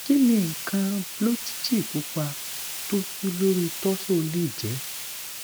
kini nkan blotchy pupa to su lori torso le je